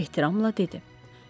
Ehtiramla dedi.